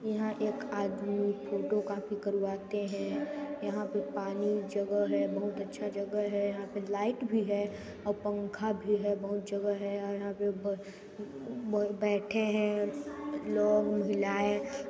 यहाँ एक आदमी फोटोकॉपी करवाते हैं यहाँ पे पानी जगह है बहुत अच्छा जगह है यहाँ पे लाइट भी है और पंखा भी है यहाँ बहुत जगह हैं यहाँ बैठे हैं लोग महिलाए।